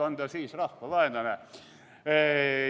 On nad siis rahvavaenlased?